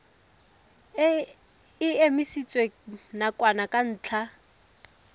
e emisitswe nakwana ka ntlha